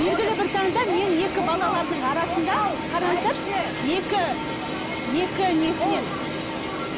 білгілі бір таңда мен екі балалардың арасында қараңыздаршы екі екі несінен